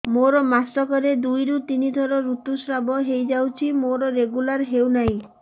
ମୋର ମାସ କ ରେ ଦୁଇ ରୁ ତିନି ଥର ଋତୁଶ୍ରାବ ହେଇଯାଉଛି ମୋର ରେଗୁଲାର ହେଉନାହିଁ